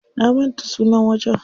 Na manta sunan wajen.